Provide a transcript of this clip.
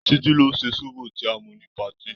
Títí ló ṣe zobo tí a mu ní patí.